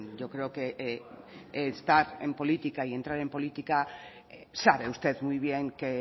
yo creo que estar en política y entrar en política sabe usted muy bien que